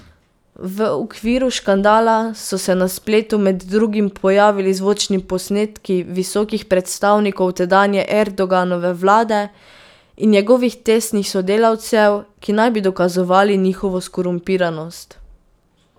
V okviru škandala so se na spletu med drugim pojavili zvočni posnetki visokih predstavnikov tedanje Erdoganove vlade in njegovih tesnih sodelavcev, ki naj bi dokazovali njihovo skorumpiranost.